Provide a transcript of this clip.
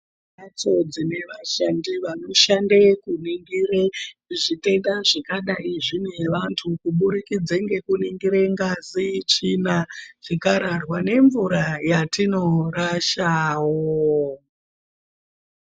Kune mhatso dzine vashandi vanoshande kuringire zvitenda zvingadai zvine vantu kubudikidza ngekuringire ngazi, tsvina nemvura dzatinorashawo.